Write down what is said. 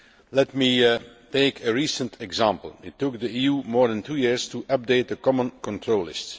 Let me take a recent example it took the EU more than two years to update the Common Control List.